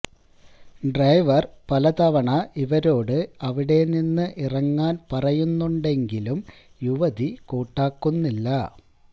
driver പല തവണ ഇവരോട് അവിടെ നിന്ന് ഇറങ്ങാന് പറയുന്നുണ്ടെങ്കിലും യുവതി കൂട്ടാക്കുന്നില്ല